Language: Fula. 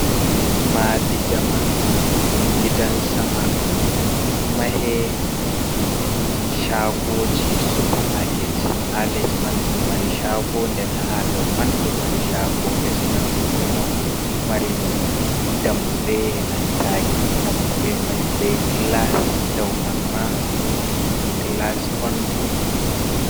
Madi jamanu dum gidan sama, do mahe chagoji supamaket, ha les man do mari chago den ha dauman do mari chago, les man do mari dammuɗe nanta daammude mai bei glas, dauman ma dum glas on.